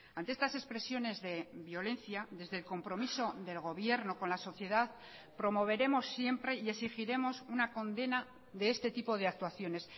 ante estas expresiones de violencia desde el compromiso del gobierno con la sociedad promoveremos siempre y exigiremos una condena de este tipo de actuaciones